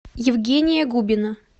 евгения губина